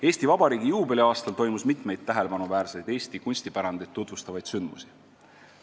Eesti Vabariigi juubeli aastal toimus mitmeid tähelepanuväärseid Eesti kunstipärandit tutvustavaid sündmusi.